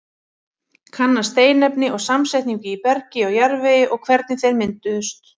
Kanna steinefni og samsetningu í bergi og jarðvegi og hvernig þeir mynduðust.